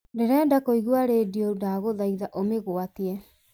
ndĩrenda kũigua rĩndiũ ndagũthaitha ũmĩgwatie